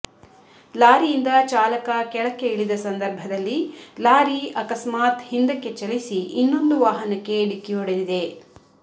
ಲಾರಿಯಿಂದ ಚಾಲಕ ಕೆಳಕ್ಕೆ ಇಳಿದ ಸಂದರ್ಭದಲ್ಲಿ ಲಾರಿ ಅಕಸ್ಮಾತ್ ಹಿಂದಕ್ಕೆ ಚಲಿಸಿ ಇನ್ನೊಂದು ವಾಹನಕ್ಕೆ ಢಿಕ್ಕಿ ಹೊಡೆದಿದೆ